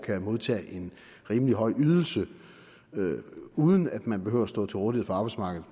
kan modtage en rimelig høj ydelse uden at man behøver at stå til rådighed for arbejdsmarkedet